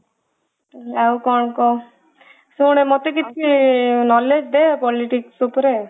ଆଉ କଣ କହ ଶୁଣେ ମତେ କିଛି knowledge ଦେ politics ଉପରେ